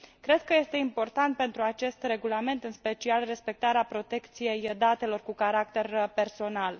Cred că este important pentru acest regulament, în special, respectarea protecției datelor cu caracter personal.